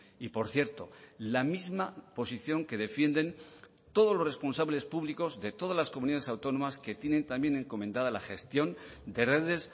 y por cierto la misma posición que defienden todos los responsables públicos de todas las comunidades autónomas que tienen también encomendada la gestión de redes